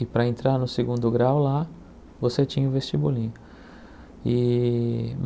E para entrar no segundo grau lá, você tinha o vestibulinho. E